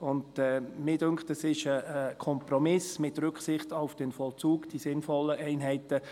Mir erscheint es als Kompromiss, die sinnvollen Einheiten «mit Rücksicht auf den Vollzug» zu bilden.